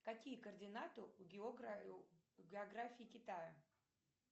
какие координаты у географии китая